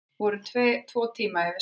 Voru tvo tíma yfir sandinn